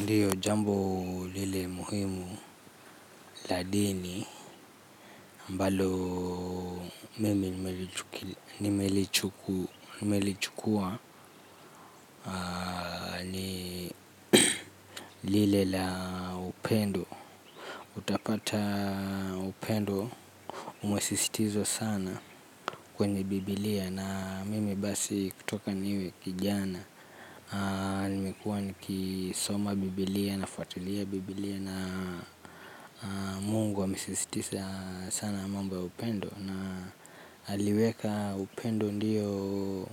Ndiyo jambo lile muhimu la dini ambalo mimi nimelichukua ni lile la upendo utpata upendo umesisitizwa sana kwenye biblia na mimi basi kutoka niwe kijana. Nimekuwa niki soma bibilia na fuatilia bibilia na mungu ame sisitiza sana mambo ya upendo. Na aliweka upendo ndiyo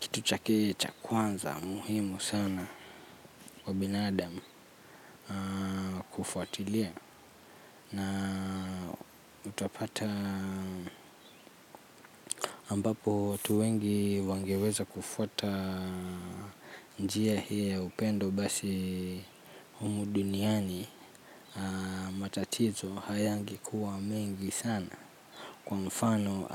kitu chake cha kwanza muhimu sana kwa binadamu kufuatilia. Na utapata ambapo watu wengi wangeweza kufuata njia hii ya upendo basi humu duniani matatizo hayange kuwa mengi sana. Kwa mfano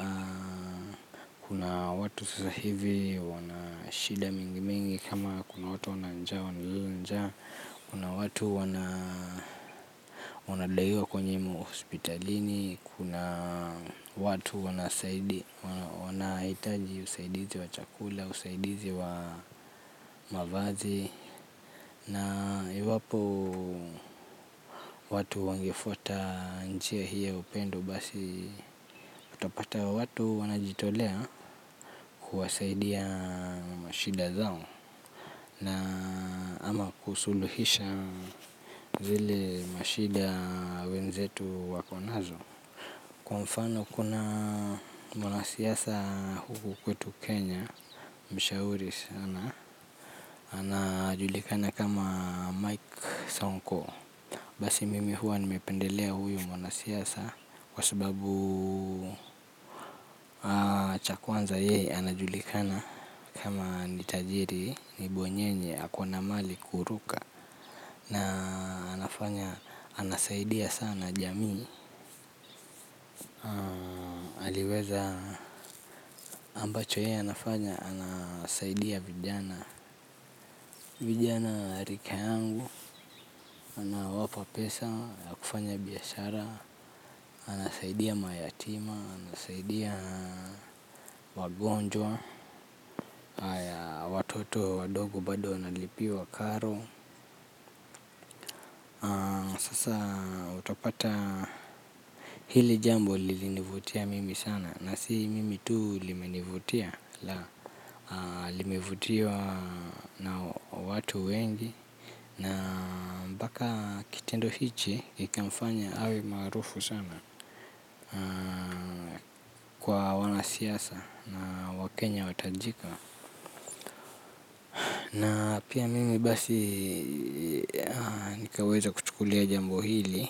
kuna watu sasa hivi wanashida mingi mingi kama kuna watu wana njaa wanalala njaa. Kuna watu wanadaiwa kwenye ma hospitalini. Kuna watu wanahitaji usaidizi wa chakula, usaidizi wa mavazi. Na iwapo watu wangefuata njia hiyo ya upendo basi. Utapata watu wanajitolea kuwasaidia mashida zao. Na ama kusuluhisha zile mashida wenzetu wako nazo. Kwa mfano kuna mwanasiasa huku kwetu Kenya Mshauri sana, anajulikana kama Mike Sonko. Basi mimi huwa nimependelea huyu mwanasiasa. Kwa sababu cha kwanza yeye anajulikana. Kama ni tajiri, ni bwenyenye, ako na mali kuruka na anafanya, anasaidia sana jamii. Aliweza ambacho ye anafanya, anasaidia vijana rika yangu, anawapa pesa, ya kufanya biashara. Anasaidia mayatima, anasaidia wagonjwa haya watoto wadogo bado wanalipiwa karo. Sasa utapata hili jambo lilinivutia mimi sana. Na si mimi tu limenivutia la limevutiwa na watu wengi. Na mpaka kitendo hichi ikamfanya awe maarufu sana kwa wanasiasa na wakenya watajika. Na pia mimi basi nikaweza kuchukulia jambo hili.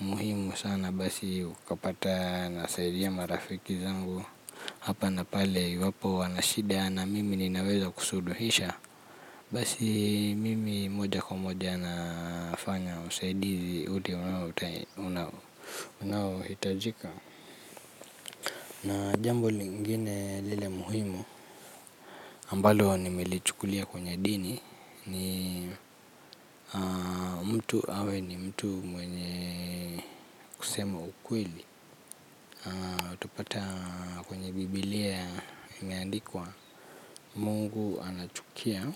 Muhimu sana basi ukapata nasaidia marafiki zangu. Hapa na pale iwapo wana shida na mimi ninaweza kusuluhisha. Basi mimi moja kwa moja nafanya usaidizi ule unao hitajika. Na jambo lingine lile muhimu ambalo nimelichukulia kwenye dini. Ni mtu awe ni mtu mwenye kusema ukweli. Upata kwenye bibilia imeandikwa mungu anachukia.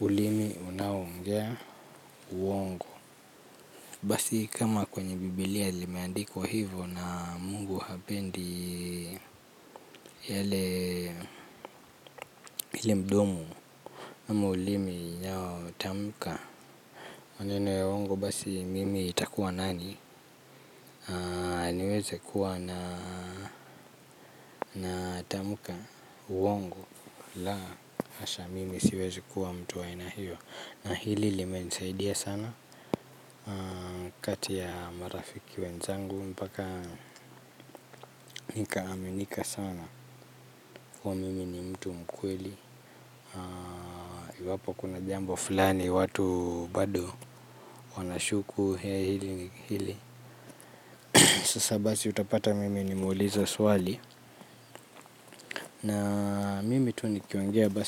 Ulimi unao ongea uongo. Basi kama kwenye bibilia limeandikwa hivyo na mungu hapendi yale ile mdomo ama ulimi inayo tamka maneno ya uongo basi mimi itakua nani niweze kuwa na tamka uongo. Laa hasha mimi siwezi kuwa mtu wa aina hiyo. Na hili lime nisaidia sana kati ya marafiki wenzangu mpaka nika aminika sana kuwa mimi ni mtu mkweli. Iwapo kuna jambo fulani watu bado wanashuku hili. Sasa basi utapata mimi ni muulize swali. Na mimi tu nikiongea basi.